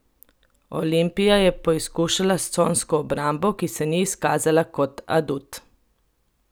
Olimpija je poizkušala s consko obrambo, ki se ni izkazala kot adut.